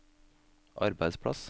arbeidsplass